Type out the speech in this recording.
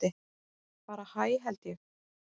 Bara hæ held ég.